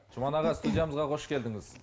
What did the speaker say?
жұман аға студиямызға қош келдіңіз